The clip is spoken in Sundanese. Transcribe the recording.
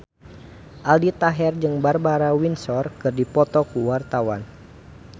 Aldi Taher jeung Barbara Windsor keur dipoto ku wartawan